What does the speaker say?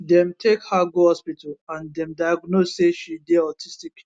dem take her go hospital and dem diagnose say she dey autistic